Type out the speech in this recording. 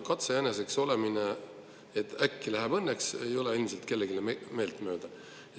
Katsejäneseks olemine, et äkki läheb õnneks, ei ole endiselt kellelegi meeltmööda.